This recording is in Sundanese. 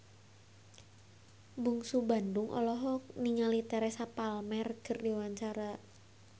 Bungsu Bandung olohok ningali Teresa Palmer keur diwawancara